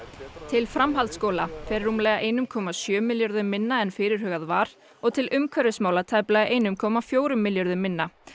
til framhaldsskóla fer rúmlega ein komma sjö milljörðum minna en fyrirhugað var og til umhverfismála tæplega eitt komma fjögur milljörðum minna